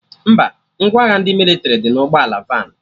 Mba, ngwa agha ndị mịlịtrị dị na ụgbọ ala vanụ